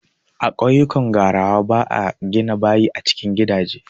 A ƙauyukan gwarawa ba a gina bayi a cikin gidaje.